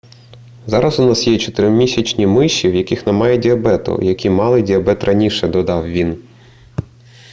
зараз у нас є 4-місячні миші в яких немає діабету і які мали діабет раніше - додав він